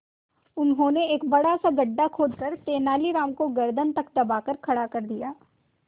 उन्होंने एक बड़ा सा गड्ढा खोदकर तेलानी राम को गर्दन तक दबाकर खड़ा कर दिया